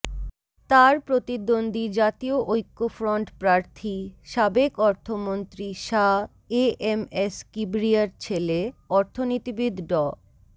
তার প্রতিদ্বন্দ্বী জাতীয় ঐক্যফ্রন্ট প্রার্থী সাবেক অর্থমন্ত্রী শাহ এএমএস কিবরিয়ার ছেলে অর্থনীতিবিদ ড